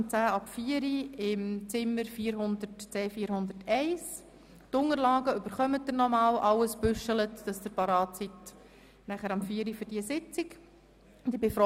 Die Unterlagen werden Sie noch einmal bekommen, schön geordnet, damit Sie für diese Sitzung gut ausgerüstet sind.